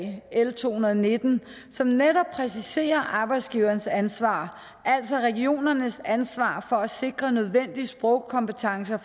l to hundrede og nitten som netop præciserer arbejdsgivernes ansvar altså regionernes ansvar for at sikre nødvendig sprogkompetencer